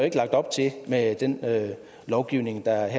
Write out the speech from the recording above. ikke lagt op til med den lovgivning der